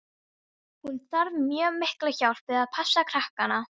Hún þarf mjög mikla hjálp við að passa krakkana.